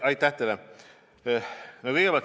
Aitäh teile!